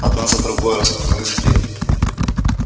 одна за другой распахнулись двери